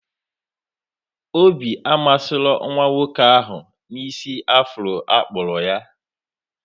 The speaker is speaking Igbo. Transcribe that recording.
Obi amasịrọ nwa nwoke ahụ na isi afro akpụrụ ya